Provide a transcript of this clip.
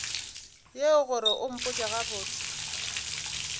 yeo gore o mpotše gabotse